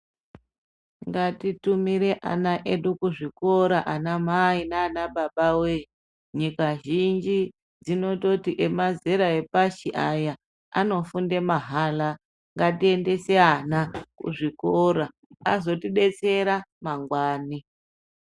Ngati tumire ana edu kuzvikora ana mai nana baba wee. Nyika zhinji dzinototi emazera epashi aya anofunde mahara. Ngatiendese ana kuzvikora azotibetsera mangwani.